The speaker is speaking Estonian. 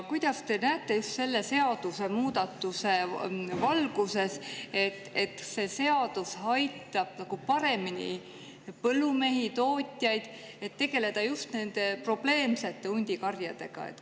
Kas te näete selle seadusemuudatuse valguses, et see aitab põllumeestel ja tootjatel just probleemsete hundikarjadega paremini tegeleda?